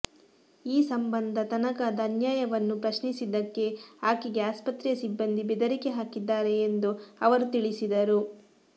ಈ ಸಂಬಂಧ ತನಗಾದ ಅನ್ಯಾಯವನ್ನು ಪ್ರಶ್ನಿಸಿದ್ದಕ್ಕೆ ಆಕೆಗೆ ಆಸ್ಪತ್ರೆಯ ಸಿಬ್ಬಂದಿ ಬೆದರಿಕೆ ಹಾಕಿದ್ದಾರೆ ಎಂದು ಅವರು ತಿಳಿಸಿದರು